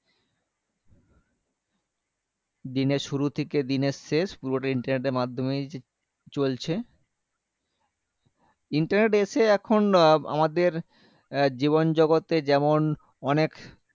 দিনের শুরু থেকে দিনের শেষ পুরোটাই internet এর মাধ্যমেই চ চলছে internet এসে এখন আমাদের জীবন জগতে যেমন অনেক